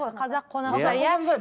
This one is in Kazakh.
қазақ қонақжай иә